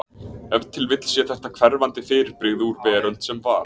ef til vill sé þetta hverfandi fyrirbrigði úr „veröld sem var“